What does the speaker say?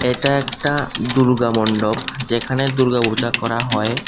এটা একটা দুর্গা মন্ডপ যেখানে দুর্গা পূজা করা হয়।